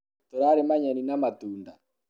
tũrarĩma nyeni na matunda